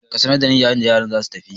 Ka sanar da ni yayin da yaran za su tafi!